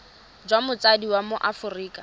jwa motsadi wa mo aforika